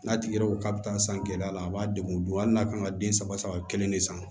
N'a tigi yɛrɛ ko k'a bɛ taa san gɛlɛya la a b'a degun hali n'a kan ka den saba saba kelen de san